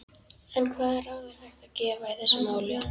En hvaða ráð er hægt að gefa í þessu máli?